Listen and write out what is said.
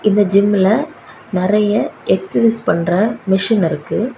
இந்த ஜிம்ல நிறைய எக்ஸர்சைஸ் பண்ற மெஷின் இருக்கு.